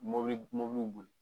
Mɔbili mɔbiliw boli